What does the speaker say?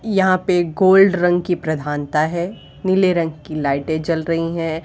यहां पे गोल्ड रंग की प्रधानता है। नीले रंग की लाइटें जल रही हैं।